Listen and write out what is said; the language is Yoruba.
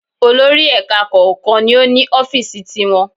Olórí Èka ẹ̀kọ́ kọ̀ọ̀kan ni o ni Ófììsì ti wọn